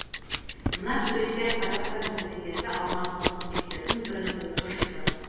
мына суретте қазақстан президенті алматылық мектептердің бірінің оқушысы